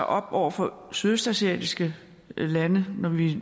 op over for sydøstasiatiske lande når vi